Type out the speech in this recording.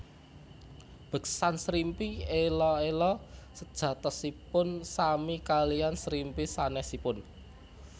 Beksan Srimpi Ela ela sejatosipun sami kalian srimpi sanesipun